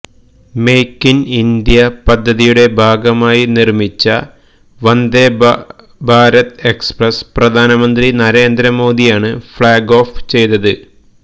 make in India പദ്ധതിയുടെ ഭാഗമായി നിർമ്മിച്ച വന്ദേഭാരത് എക്സ്പ്രസ് പ്രധാനമന്ത്രി നരേന്ദ്രമോദിയാണ് ഫ്ലാഗ് ഓഫ് ചെയ്തത്